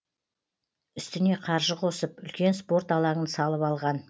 үстіне қаржы қосып үлкен спорт алаңын салып алған